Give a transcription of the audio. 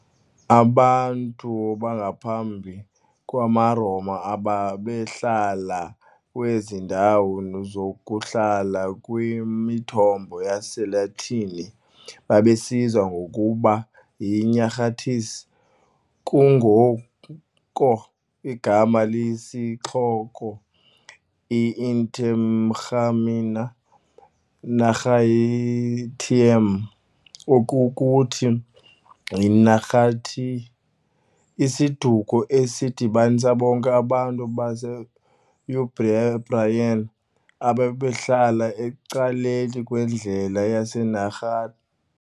Abantu bangaphambi kwamaRoma ababehlala kwezi ndawo zokuhlala kwimithombo yesiLatini babizwa ngokuba "yiNahartes", kungoko igama lesixoko, "i-Interamna Nahartium", oko kukuthi, iNaharti, isiduko esidibanisa bonke abantu base-Umbrian ababehlala ecaleni kwendlela yeNahar.